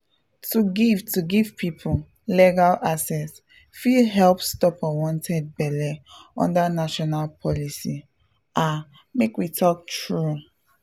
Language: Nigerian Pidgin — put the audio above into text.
to give to give people legal access fit help stop unwanted belle under national policy ah make we talk true.